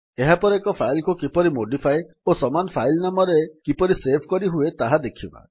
ଏହାପରେ ଏକ ଫାଇଲ୍ କୁ କିପରି ମୋଡିଫାଏ ଓ ସମାନ ଫାଇଲ୍ ନାମରେ କିପରି ସେଭ୍ କରିହୁଏ ତାହା ଦେଖିବା